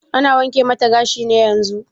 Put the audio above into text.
Ana wanke mata gashi ne yanzun?